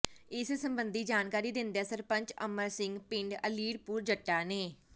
ਇਸ ਸਬੰਧੀ ਜਾਣਕਾਰੀ ਦਿੰਦਿਆਂ ਸਰਪੰਚ ਅਮਰ ਸਿੰਘ ਪਿੰਡ ਅਲੀਪੁਰ ਜੱਟਾਂ ਨੇ